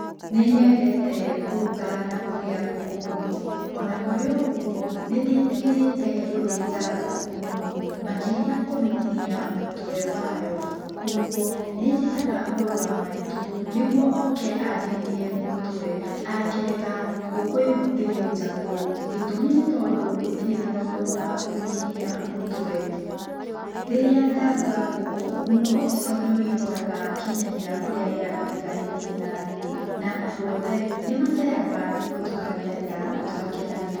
Nĩnyĩndete kũruga na kũrĩa ngũkũ mũno, ona kũrĩ oũguo nĩndĩtigĩrĩte gũthenja ngũkũ mũno, makĩria kũmĩtinia mũtwe wayo kugwo, nĩnjĩtaga mũrũ wa maitũ nĩgũo oke andinĩrie mũtwe, angerega ngũkũ ĩyo ndĩthĩnjagwo gĩtũmi nĩ tondũ gũtire na mũndũ wa kũmĩtinia mũtwe. Rĩrĩa ndarũga ngũkũ mũnũngo ũcio nĩwĩihũraga nginyagia kũrĩ arĩa mariganĩtie na niĩ, na andũ othe nĩmaceraga nĩgũo tũkarĩanĩra na tũgakenanĩra.